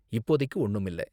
இப்போதைக்கு ஒன்னும் இல்ல.